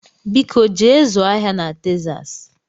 Biko jee zụọ ahịa na Texas